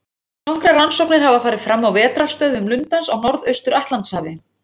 Nokkrar rannsóknir hafa farið fram á vetrarstöðvum lundans á Norðaustur-Atlantshafi.